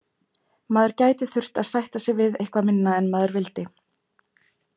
Maður gæti þurft að sætta sig við eitthvað minna en maður vildi.